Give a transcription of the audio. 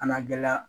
Kana gɛlɛya